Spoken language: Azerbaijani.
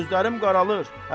Gözlərim qaralır.